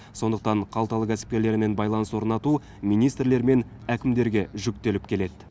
сондықтан қалталы кәсіпкерлермен байланыс орнату министрлер мен әкімдерге жүктеліп келеді